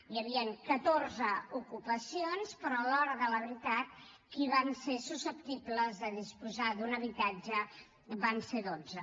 hi havien catorze ocupacions però a l’hora de la veritat qui van ser susceptibles de disposar d’un habitatge en van ser dotze